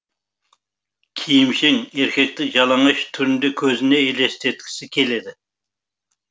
киімшең еркекті жалаңаш түрінде көзіне елестеткісі келеді